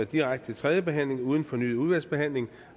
direkte til tredje behandling uden fornyet udvalgsbehandling